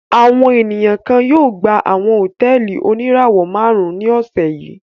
Àwọn ènìyàn kan yóò gba àwọn hòtẹ́ẹ́lì oníràwọ̀-márùn-ún ní ọ̀sẹ̀ yìí.